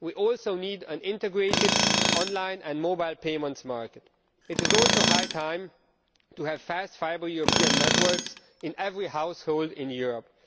We also need an integrated online and mobile payments market. It is also high time to have fast fibre European networks in every household in Europe.